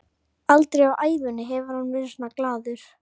Aldrei á ævinni hefur hann verið svona glaður.